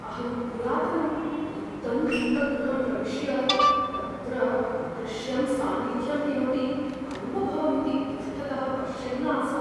अहं पुरातनं रिक्तं दीपगृहं प्रविश्य, तत्र अदृश्यं सान्निद्ध्यम् किमपि अन्वभवमिति पृष्ठतः पश्यन् आसम्।